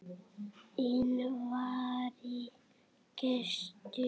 Inn vari gestur